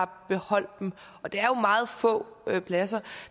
beholde og det er jo meget få pladser